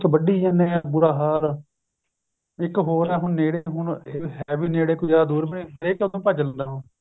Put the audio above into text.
ਵੱਡੀ ਜਾਂਦੇ ਏ ਬੁਰਾ ਹਾਲ ਏ ਇੱਕ ਹੋਰ ਏ ਨੇੜੇ ਹੁਣ ਏਹ ਵੀ ਨੇੜੇ ਕੋਈ ਜਿਆਦਾ ਦੂਰ ਵੀ ਨਹੀਂ ਹਰੇਕ ਉੱਧਰ ਨੂੰ ਭੱਜ ਲੈਦਾ ਹੁਣ